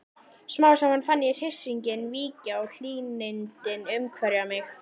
Smám saman fann ég hryssinginn víkja og hlýindin umvefja mig.